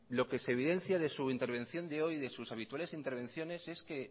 lo que se evidencia de su intervención de hoy y de sus habituales intervenciones es que